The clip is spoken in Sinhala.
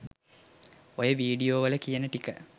ඔය වීඩියෝ වල කියන ටික